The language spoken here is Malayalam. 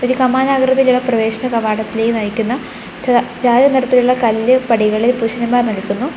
ഒരു കമാന ആകൃതിയിൽ ഇള്ള പ്രവേശന കാവടത്തിലേക്ക് നയിക്കുന്ന ച ചായ നിറത്തിലുള്ള കല്ല് പടികളിൽ പുരുഷന്മാർ നിൽക്കുന്നു.